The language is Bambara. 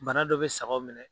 Bana dɔ bɛ sagaw minɛ.